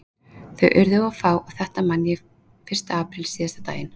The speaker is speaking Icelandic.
Þau urðu of fá og þetta man ég fyrsta apríl, síðasta daginn